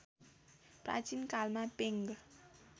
प्राचीन कालमा पेङ